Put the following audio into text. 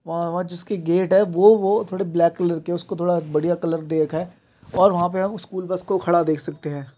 वहाँ वहाँ जिसकी गेट है वो वो थोड़ा ब्लैक कलर की है उसको थोड़ा बढ़िया कलर दे रखा है और वहां पे हम स्कूल बस को खड़ा देख सकते हैं।